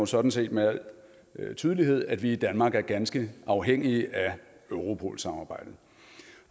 sådan set med al tydelighed illustrerer at vi i danmark er ganske afhængige af europol samarbejdet